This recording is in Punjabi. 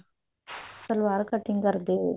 ਸਲਵਾਰ cutting ਕਰਦੇ ਹੋਏ